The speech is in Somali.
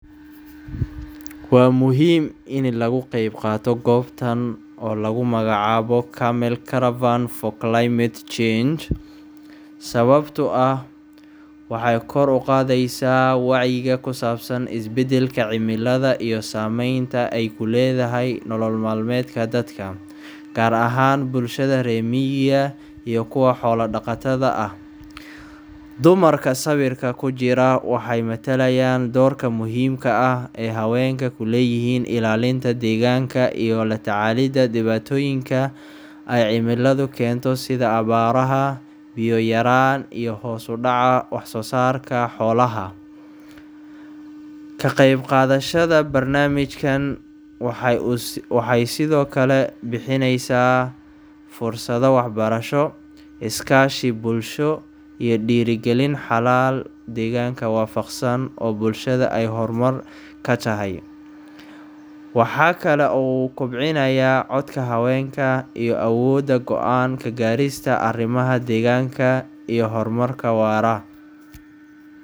Waa muhiim ini lagu qaybqaato goobtan oo lagu magacaabo Camel Caravan for Climate Change, sababtoo ah waxay kor u qaadaysaa wacyiga ku saabsan isbeddelka cimilada iyo saamaynta ay ku leedaahay nololmaalmeedka dadka, gaar ahaan bulshada reer miyiga iyo kuwa xoola dhaqatada ah. Dumarka sawirka ku jira waxay matalayaan doorka muhiimka ah ee haweenka ku leeyihiin ilaalinta deegaanka iyo la tacaalida dhibaatooyinka ay cimiladu keento sida abaaraha, biyo yaraan iyo hoos u dhaca wax soo saarka xoolaha. Ka qaybqaadashada barnaamijkan waxay sidoo kale bixinayaa fursado waxbarasho, iskaashi bulsho, iyo dhiirrigelin xalal deegaanka waafaqsan oo bulshada ay hormar ka tahay. Waxa kale oo uu kobcinayaa codka haweenka iyo awooddooda go’aan ka gaarista arrimaha deegaanka iyo horumarka waara.